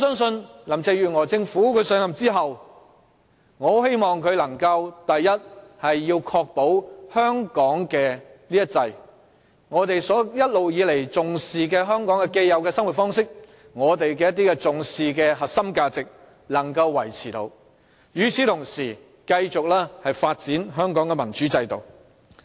因此，我希望林鄭月娥上任後能夠確保香港這"一制"，即我們一直以來所重視的香港既有生活方式和核心價值能夠維持，並同時繼續發展香港的民主制度。